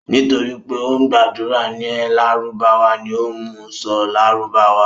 Nítorí pé ó ń gbàdúrà ní lárúbáwá ni ó mú u sọ lárúbáwá.